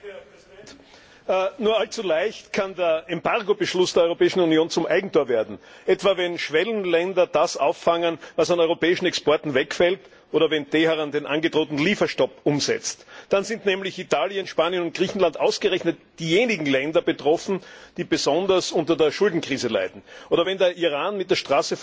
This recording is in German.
Herr Präsident! Nur allzu leicht kann der Embargobeschluss der Europäischen Union zum Eigentor werden wenn etwa Schwellenländer das auffangen, was an europäischen Exporten wegfällt, oder wenn Teheran den angedrohten Lieferstopp umsetzt, dann sind nämlich mit Italien, Spanien und Griechenland ausgerechnet diejenigen Länder betroffen, die besonders unter der Schuldenkrise leiden. Oder wenn der Iran mit der